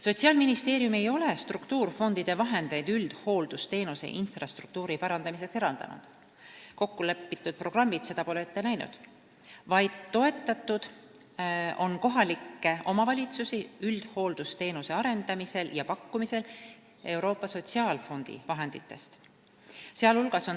" Sotsiaalministeerium ei ole struktuurifondide vahendeid üldhooldusteenuse infrastruktuuri parandamiseks eraldanud – kokku lepitud programmid ei ole seda ette näinud –, vaid on toetanud kohalikke omavalitsusi üldhooldusteenuse arendamisel ja pakkumisel Euroopa Sotsiaalfondi vahenditest.